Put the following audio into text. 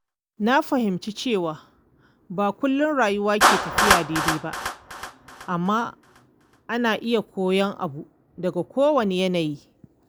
Na fahimci cewa ba kullum rayuwa ke tafiya daidai ba, amma ana iya koyon abu daga kowanne yanayi.